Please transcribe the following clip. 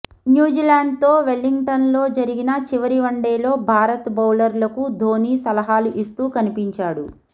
న్యూజిల్యాండ్తో వెల్లింగ్టన్లో జరిగిన చివరి వన్డేలో భారత్ బౌలర్లకు ధోని సలహాలు ఇస్తూ కనిపించాడు